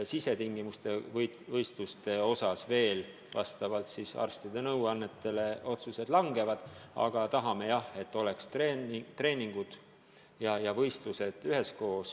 Sisetingimuste võistluste osas otsuseid vastavalt arstide nõuannetele veel kaalutakse, aga tahame jah, et oleks treeningud ja võistlused üheskoos.